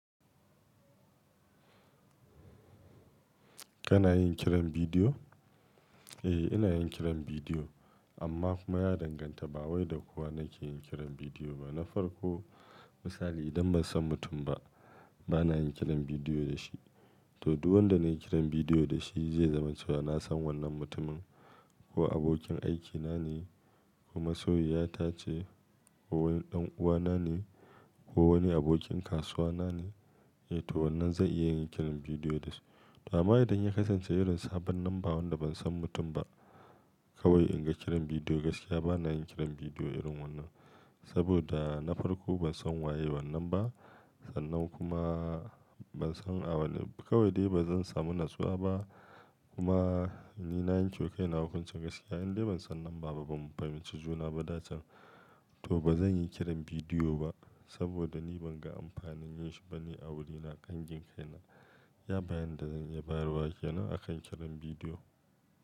Kana yin kiran bidiyo? Eh, ina yin kiran bidiyo amma kuma ya danganta. Ba wai da kowa nake yin kiran bidiyo ba. Na farko misali idan ban san mutum ba, bana yin kiran bidiyo da shi. To, duk wanda na yi kiran bidiyo da shi zai zama cewa na san wannan mutumin ko abokin aikina ne, ko masoyiyata ce, ko wani ɗan'uwana ne, ko wani abokin kasuwa na ne. Eh to wannan zan iya yin kiran bidiyo da su. To amma idan ya kasance irin sabon namba wanda ban san mutum ba, kawai in ga kiran bidiyo gaskiya bana yin kiran bidiyo irin wannan. Saboda na farko ban san waye wannan ba, sannan kuma ban san a wanne-- kawai dai ba zan samu natsuwa ba. Kuma ni na yanke wa kaina hukuncin gaskiya. In dai ban san namba ba ba mu fahimci juna ba da can, to ba zan yi kiran bidiyo ba saboda ni ban ga amfanin yin shi ba ni a wurina, kangin kaina. Iya bayanin da zan iya bayarwa ke nan akan kiran bidiyo.